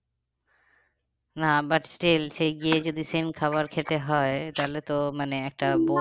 না but still সেই গিয়ে যদি same খাবার খেতে হয় তাহলে তো মানে একটা